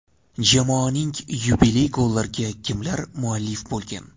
Jamoaning yubiley gollariga kimlar muallif bo‘lgan?.